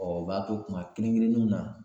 u b'a to kuma kelen kelenniw na